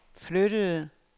flyttede